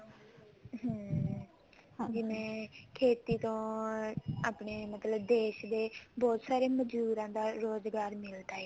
ਹਮ ਜਿਵੇਂ ਖੇਤੀ ਤੋਂ ਆਪਣੇ ਮਤਲਬ ਦੇਸ਼ ਦੇ ਬਹੁਤ ਸਾਰੇ ਮਜਦੂਰਾਂ ਰੋਜ਼ਗਾਰ ਮਿਲਦਾ ਹੈ